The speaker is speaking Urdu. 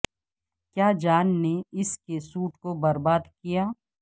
کیا جان نے اس کے سوٹ کو برباد کیا